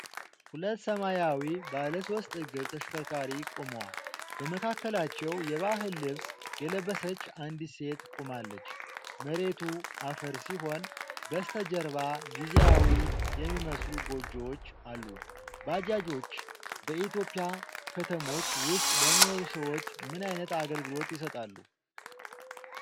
ሁለት ሰማያዊ ባለሶስት እግር ተሽከርካሪዎች ቆመዋል። በመካከላቸው የባህል ልብስ የለበሰች አንዲት ሴት ቆማለች። መሬቱ አፈር ሲሆን በስተጀርባ ጊዜያዊ የሚመስሉ ጎጆዎች አሉ። ባጃጆች በኢትዮጵያ ከተሞች ውስጥ ለሚኖሩ ሰዎች ምን አይነት አገልግሎት ይሰጣሉ?